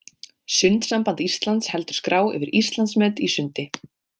Sundsamband Íslands heldur skrá yfir Íslandsmet í sundi.